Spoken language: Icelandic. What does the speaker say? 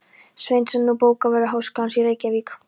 Sveinsson, nú bókavörður háskólans í Reykjavík.